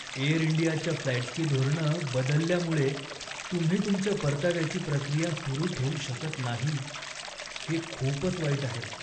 एअरइंडियाच्या फ्लाइट्सची धोरणं बदलल्यामुळे तुम्ही तुमच्या परताव्याची प्रक्रिया सुरु ठेवू शकत नाही, हे खूपच वाईट आहे.